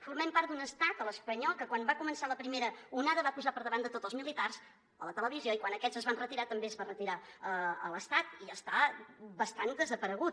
formem part d’un estat l’espanyol que quan va començar la primera onada va posar per davant de tots els militars a la televisió i quan aquests es van retirar també es va retirar l’estat i està bastant desaparegut